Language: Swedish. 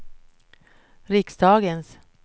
riksdagens